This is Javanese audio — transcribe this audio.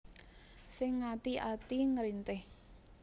Sing ngati ati ngrintih